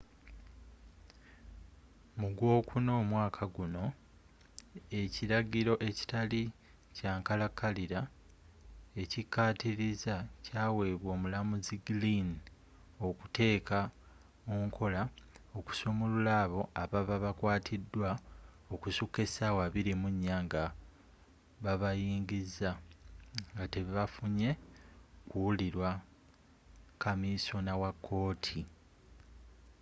mu gw'okuna omwaaka gunno ekiragiro ekitali kyankalakalira ekyikaatiriza kyaweebwa omulamuzi glynn okuteeka munkola okusumulula abo ababa bakwatidwa okusuka esaawa 24 nga babayingiza nga tebafunye kuwulirwa kamisona wakooti